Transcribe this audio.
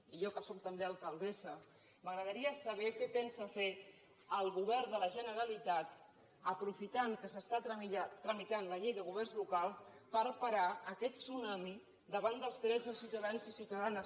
i a mi que sóc també alcaldessa m’agradaria saber què pensa fer el govern de la generalitat aprofitant que s’està tramitant la llei de governs locals per parar aquest tsunami davant dels drets dels ciutadans i ciutadanes